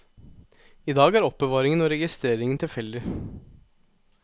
I dag er er oppbevaringen og registreringen tilfeldig.